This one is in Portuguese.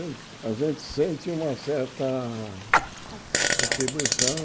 Então, a gente sente uma certa satisfação retribuição.